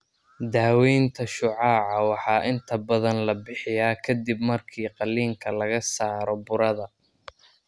Daaweynta shucaaca waxaa inta badan la bixiyaa ka dib markii qaliinka laga saaro burada.